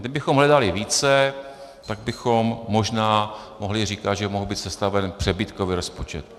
Kdybychom hledali více, tak bychom možná mohli říkat, že mohl být sestaven přebytkový rozpočet.